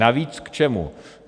Navíc k čemu?